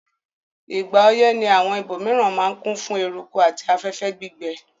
Ìgbà oyẹ́ ni àwon ibòmiran ma n kún fún eruku àti afẹ́fẹ́ gbígbẹ